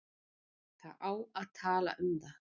Það á að tala um það.